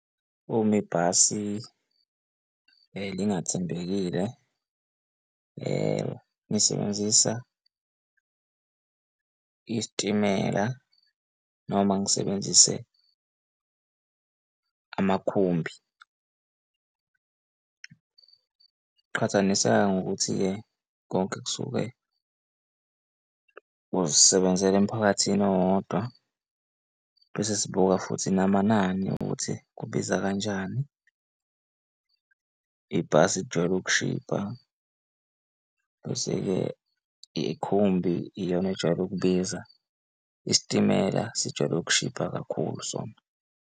Uma ibhasi elingathembekile ngisebenzisa isitimela noma ngisebenzise amakhumbi. Qhathaniseka ngokuthi-ke konke kusuke kuzisebenzela emphakathini owodwa, bese sibuka futhi namanani ukuthi kubiza kanjani ibhasi lijwayele ukushibha, bese-ke ikhumbi iyona ejwayele ukubiza isitimela sijwayele ukushibha kakhulu sona.